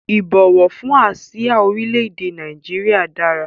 Ìbọ̀wọ̀ fún àsìá orílẹ̀ èdè Nàìjíríà dára